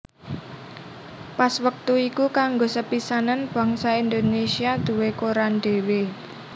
Pas wèktu iku kanggo sepisanan bangsa Indonesia duwé koran dhéwé